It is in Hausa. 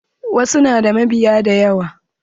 Wasu na da mabiya da yawa.